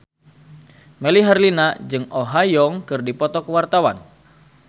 Melly Herlina jeung Oh Ha Young keur dipoto ku wartawan